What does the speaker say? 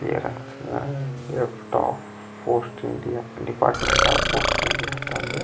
department of post India ಅಂತ ಅಂದ --